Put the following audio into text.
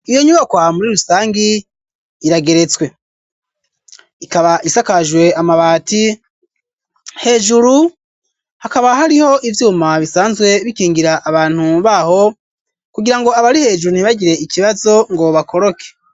Iyo nyubakwa muri rusangi irageretswe ikaba isakajwe amabati hejuru hakaba hariho ivyuma bisanzwe bikingira abantu baho kugirango abari hejuru ntibagire ikibazo ngo bakoroke